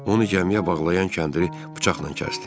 Onu gəmiyə bağlayan kəndiri bıçaqla kəsdim.